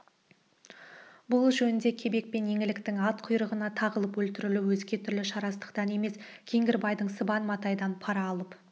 бұл жөнінде кебек пен еңліктің ат құйрығына тағылып өлтірілуі өзге түрлі шарасыздықтан емес кеңгірбайдың сыбан матайдан пара алып